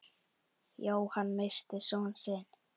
Jóhann missti son sinn.